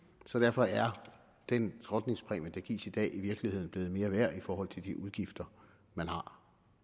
så derfor er den skrotningspræmie der gives i dag i virkeligheden blevet mere værd i forhold til de udgifter man har